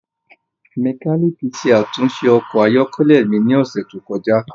Mekaniki ṣe atunṣe ọkọ ayọkẹlẹ mi ni ọsẹ to kọja.